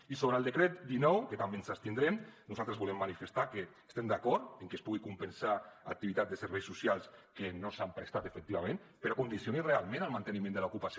i sobre el decret dinou que també ens abstindrem nosaltres volem manifestar que estem d’acord en que es pugui compensar l’activitat de serveis socials que no s’ha prestat efectivament però que es condicioni realment al manteniment de l’ocupació